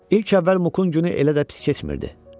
İlk əvvəl Muqun günü elə də pis keçmirdi.